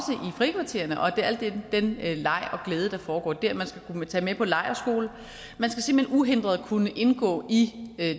frikvartererne og i al den leg og glæde der foregår der man skal kunne tage med på lejrskole man skal uhindret kunne indgå i